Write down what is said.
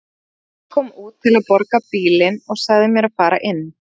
Pabbi kom út til að borga bílinn og sagði mér að fara inn.